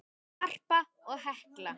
Harpa og Helga.